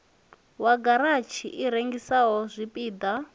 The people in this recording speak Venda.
wa garatshi i rengisaho zwipida